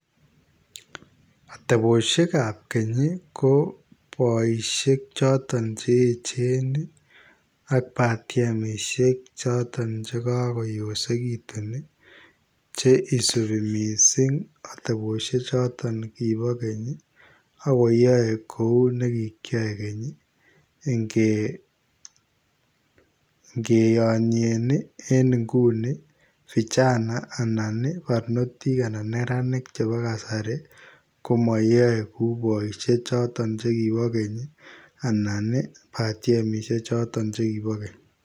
Ateptabosiek ab keeny ii ko baisheek chotoon cheecheen ak batiemisiek chotoon che kakotosekituun ii che isubi missing atebosiek chotoon kiboo keeny agoinyaei kou keeny ingiyanyeen ii en nguni ii [vijana] parnotiik anan neranik chebo kasari komayae kou boisiek chotoon kiboo keeny ii anan ii batiemisiek chotoon che kibo keeny.